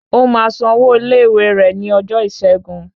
O máa san owó ilé ìwé rẹ ní ọjọ́ ìṣẹ́gun